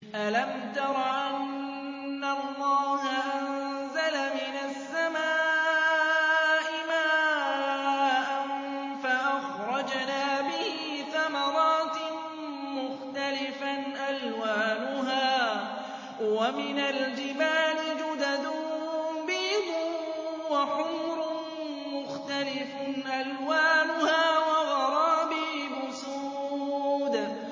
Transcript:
أَلَمْ تَرَ أَنَّ اللَّهَ أَنزَلَ مِنَ السَّمَاءِ مَاءً فَأَخْرَجْنَا بِهِ ثَمَرَاتٍ مُّخْتَلِفًا أَلْوَانُهَا ۚ وَمِنَ الْجِبَالِ جُدَدٌ بِيضٌ وَحُمْرٌ مُّخْتَلِفٌ أَلْوَانُهَا وَغَرَابِيبُ سُودٌ